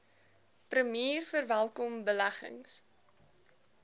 premier verwelkom beleggings